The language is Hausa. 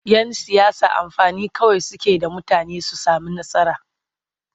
Yan siyasa mafani kawai suke da mutane su sami nasara.